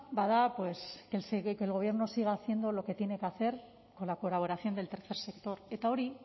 bada pues que el gobierno siga haciendo lo que tiene que hacer con la colaboración del tercer sector eta hori